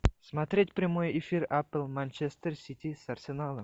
смотреть прямой эфир апл манчестер сити с арсеналом